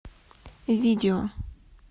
видео